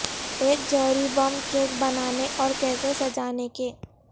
ایک جوہری bomb cake بنانے اور کیسے سجانے کے